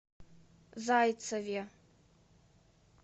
зайцеве